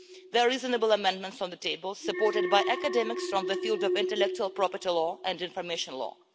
There are reasonable amendments on the table, supported by academics from the field of intellectual property law and information law.